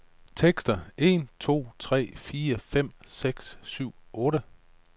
Tester en to tre fire fem seks syv otte.